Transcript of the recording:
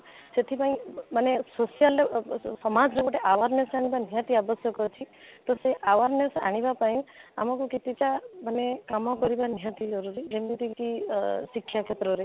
ସେଠି ପାଇଁ ମାନେ social ଅ ଅ ସମାଜରେ ଗୋଟେ awareness ଆଣିବା ନିହାତି ଆବଶ୍ୟକ ଅଛି ତ ସେଇ awareness ଆଣିବା ପାଇଁ ଆମକୁ କେତେଟା ମାନେ କାମ କରିବା ନିହାତି ଜରୁରୀ ଯେମିତି କି ଆଁ ଶିକ୍ଷା କ୍ଷେତ୍ରରେ